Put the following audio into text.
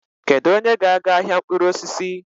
Kedu onye ga-aga ahịa mkpụrụ osisi?